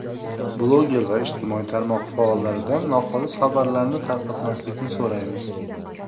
Bloger va ijtimoiy tarmoq faollaridan noxolis xabarlarni tarqatmaslikni so‘raymiz.